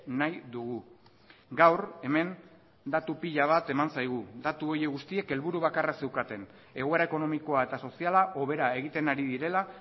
nahi dugu gaur hemen datu pila bat eman zaigu datu horiek guztiek helburu bakarra zeukaten egoera ekonomikoa eta soziala hobera egiten ari direla